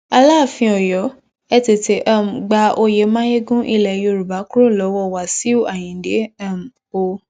alaàfin ọyọ ẹ tètè um gba oyè mayegun ilẹ yorùbá kúrò lọwọ wàsíù ayinde um o